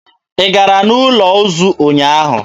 Ị gara n'ụlọ ozu ụnyaahụ?